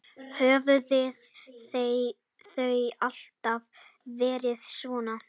Höfðu þau alltaf verið svona?